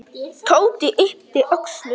Tóti yppti öxlum.